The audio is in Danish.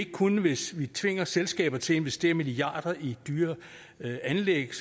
kunne hvis vi tvinger selskaber til at investere milliarder i dyre anlæg